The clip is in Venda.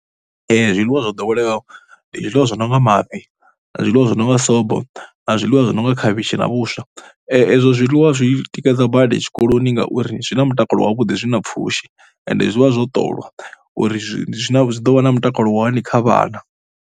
Zwiḽiwa zwo ḓowelea ndi zwiḽiwa zwi no nga mafhi na zwiḽiwa zwi no nga sobo na zwiḽiwa zwi no nga khavhishi na vhuswa. Ezwo zwiḽiwa zwi tikedza badi tshikoloni ngauri zwi na mutakalo wavhuḓi, zwi na pfhushi ende zwi vha zwo ṱoliwa uri ndi zwi, zwi ḓo vha na mutakalo wa hani kha vhana.